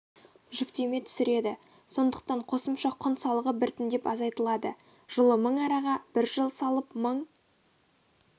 жүктеме түсіреді сондықтан қосымша құн салығы біртіндеп азайтылады жылы мың араға бір жыл салып мың